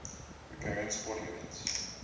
recurring sporting events